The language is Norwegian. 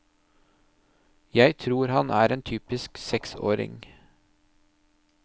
Jeg tror han er en typisk seksåring.